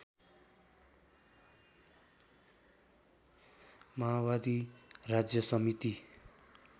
माओवादी राज्य समिति